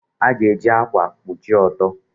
A ga-eji ákwà kpuchie ọtọ.